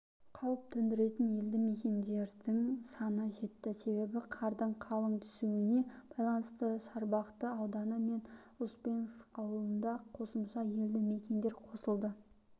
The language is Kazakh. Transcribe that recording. қауіп төндіретін елді мекендердің саны жетті себебі қардың қалың түсуіне байланысты шарбақты ауданы мен успенск ауылында қосымша елді мекендер қосылды